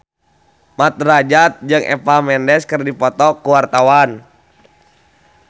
Mat Drajat jeung Eva Mendes keur dipoto ku wartawan